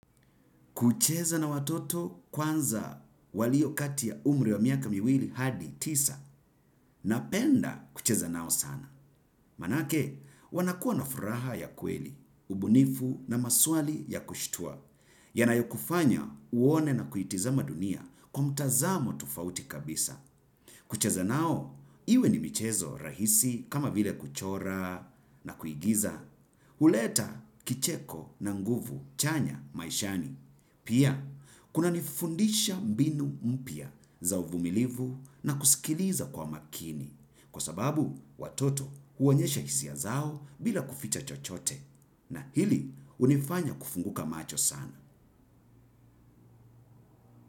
Kucheza na watoto kwanza walio kati ya umri wa miaka miwili hadi tisa napenda kucheza nao sana. Manake wanakuwa na furaha ya kweli ubunifu na maswali ya kushtua. Yanayokufanya uone na kuitizama dunia kwa mtazamo tofauti kabisa. Kucheza nao, iwe ni michezo rahisi kama vile kuchora na kuigiza. Huleta kicheko na nguvu chanya maishani. Pia, kuna nifundisha mbinu mpya za uvumilivu na kusikiliza kwa makini kwa sababu watoto huonyesha hisia zao bila kuficha chochote na hili hunifanya kufunguka macho sana.